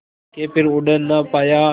के फिर उड़ ना पाया